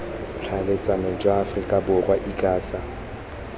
ditlhaeletsano jwa aforika borwa icasa